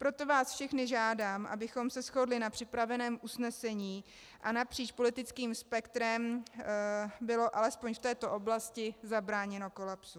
Proto vás všechny žádám, abychom se shodli na připraveném usnesení a napříč politickým spektrem bylo alespoň v této oblasti zabráněno kolapsu.